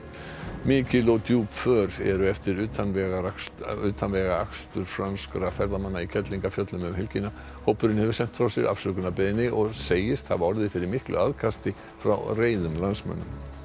mikil og djúp för eru eftir utanvegaakstur utanvegaakstur franskra ferðamanna í Kerlingarfjöllum um helgina hópurinn hefur sent frá sér afsökunarbeiðni og segist hafa orðið fyrir miklu aðkasti frá reiðum landsmönnum